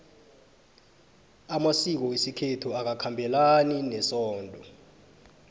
amasiko wesikhethu awakhabelani nesondo